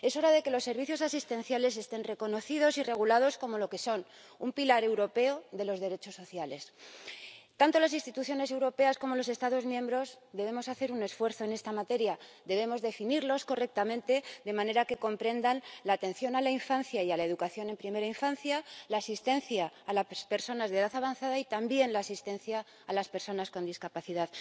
Es hora de que los servicios asistenciales estén reconocidos y regulados como lo que son un pilar europeo de los derechos sociales. Tanto las instituciones europeas como los Estados miembros debemos hacer un esfuerzo en esta materia debemos definirlos correctamente, de manera que comprendan la atención a la infancia y a la educación en primera infancia, la asistencia a las personas de edad avanzada y también la asistencia a las personas con discapacidad.